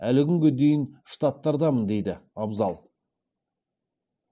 әлі күнге дейін штаттардамын деді абзал